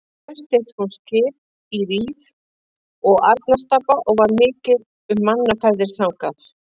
Haust eitt kom skip í Rif og Arnarstapa og var mikið um mannaferðir þangað.